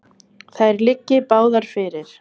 Þær liggi báðar fyrir.